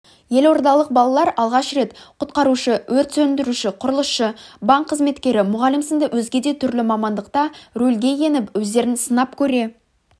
елордалық балалар алғаш рет құтқарушы өрт сөндіруші құрылысшы банк қызметкері мұғалім сынды өзге де түрлі мамандықта рөлге еніп өздерін сынап көре